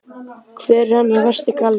Hver er hennar versti galli?